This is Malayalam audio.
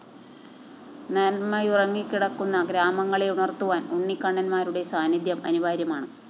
നന്മയുറങ്ങിക്കിടക്കുന്ന ഗ്രാമങ്ങളേ ഉണര്‍ത്തുവാന്‍ ഉണ്ണിക്കണ്ണന്മാരുടെ സാന്നിദ്ധ്യം അനിവാര്യമാണ്